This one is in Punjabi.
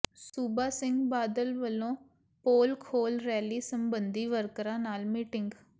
ਸੂਬਾ ਸਿੰਘ ਬਾਦਲ ਵਲੋਂ ਪੋਲ ਖ਼ੋਲ੍ਹ ਰੈਲੀ ਸਬੰਧੀ ਵਰਕਰਾਂ ਨਾਲ ਮੀਟਿੰਗ